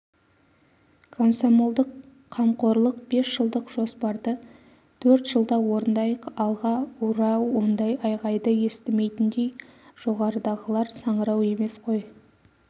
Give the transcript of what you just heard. комсомолдық қамқорлық бесжылдық жоспарды төрт жылда орындайық алға ура ондай айғайды естімейтіндей жоғарыдағылар саңырау емес қой